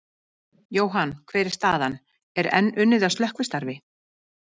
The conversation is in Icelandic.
Jóhann, hver er staðan, er enn unnið að slökkvistarfi?